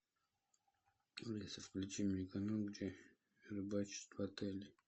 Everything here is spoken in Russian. алиса включи мне канал где рыбачат в отеле